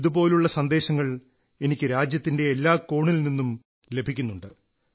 ഇതുപോലുള്ള സന്ദേശങ്ങൾ എനിക്ക് രാജ്യത്തിന്റെ എല്ലാ കോണിൽ നിന്നും ലഭിക്കുന്നുണ്ട്